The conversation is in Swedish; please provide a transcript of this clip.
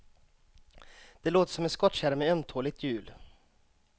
Det låter som en skottkärra med ömtåligt hjul.